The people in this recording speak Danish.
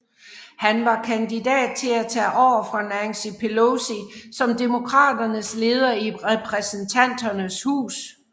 Han var kandidat til at tage over fra Nancy Pelosi som Demokraternes leder i Repræsentanternes hus